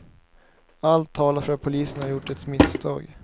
Allt talar för att polisen har gjort ett misstag.